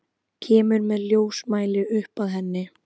Kemur með ljósmæli upp að henni.